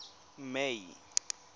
may